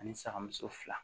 Ani sagamuso fila